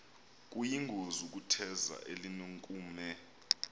kuyingozi ukutheza elinenkume